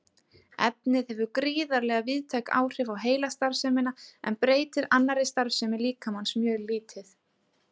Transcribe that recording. Efnið hefur gríðarlega víðtæk áhrif á heilastarfsemina en breytir annarri starfsemi líkamans mjög lítið.